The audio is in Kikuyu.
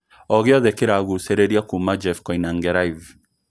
ogĩothe kiragucagĩrĩria kuuma jeff koinange live